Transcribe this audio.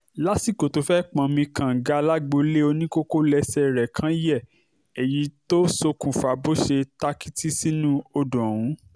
lásìkò tó fẹ́ẹ̀ pọnmi kànga lágboolé oníkókó lẹ́sẹ̀ rẹ̀ kan yẹ èyí tó ṣokùnfà bó ṣe tàkìtì sínú odò ọ̀hún